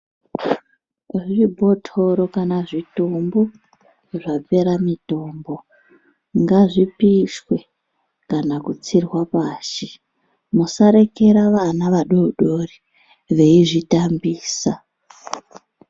zvibhotoro kana zvitimbu zvapera mitombo, ngazvipishwe kana kutsirwa pashi. Musarekera vana vadodori veizvitambisa.